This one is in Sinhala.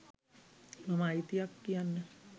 මම අයිතියක් කියන්න